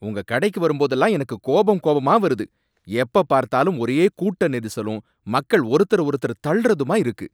உங்க கடைக்கு வரும்போதெல்லாம் எனக்குக் கோபம் கோபமா வருது, எப்ப பார்த்தாலும் ஒரே கூட்ட நெரிசலும் மக்கள் ஒருத்தர ஒருத்தர் தள்ளுறதுமா இருக்கு.